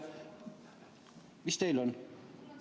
Mis teil on?